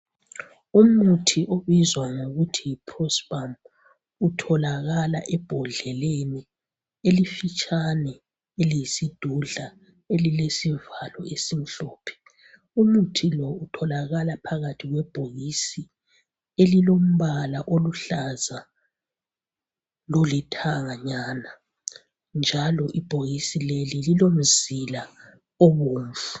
Umuthi obizwa kuthiwa yiprospan utholakala ebhodleleni elifitshane eliyisidudla elilesivalo esimhlophe. Umuthi lo utholakala phakathi kwebhokisi elilombala oluhlaza lolithanganyana njalo ibhokisi leli lilomzila obomvu.